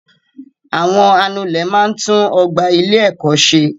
Àwọn anulẹ̀ máa tún ọgbà ilé ẹ̀kọ́ ṣẹ.